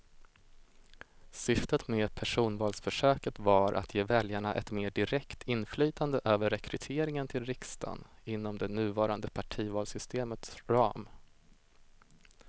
Syftet med personvalsförsöket var att ge väljarna ett mer direkt inflytande över rekryteringen till riksdagen inom det nuvarande partivalssystemets ram.